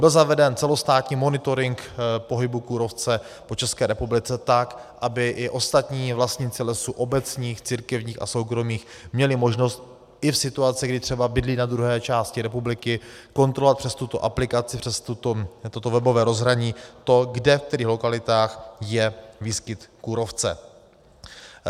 Byl zaveden celostátní monitoring pohybu kůrovce po České republice, tak aby i ostatní vlastníci lesů obecních, církevních a soukromých měli možnost i v situaci, kdy třeba bydlí na druhé části republiky, kontrolovat přes tuto aplikaci, přes toto webové rozhraní to, kde, ve kterých lokalitách je výskyt kůrovce.